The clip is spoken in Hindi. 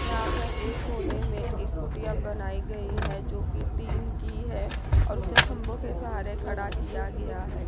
यहां पर एक कोने में एक कुटिया बनाई गई है जोकि टीन की है और उसे खंभो के सहारे खड़ा किया गया है।